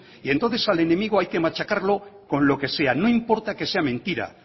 y entonces al enemigo hay que machacarlo con lo que sea no importa que sea mentira